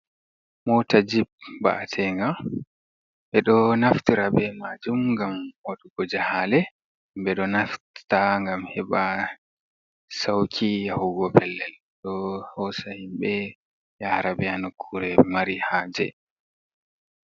Moota jip mba’ateeenga, ɓe ɗo naftira bee maajum ngam waɗugo jahaale. Ɓe ɗo naftta ngam heɓa sawƙi yahugo pellel. Ɗo hoosa himɓe yaara ɓe ha nokkuure mari haaje.